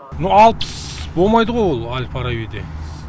мына алпыс болмайды ғой ол әл фарабиде